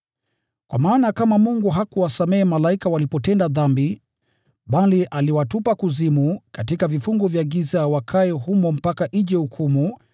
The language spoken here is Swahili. Kwa maana, kama Mungu hakuwasamehe malaika walipotenda dhambi, bali aliwatupa kuzimu katika vifungo vya giza wakae humo mpaka ije hukumu;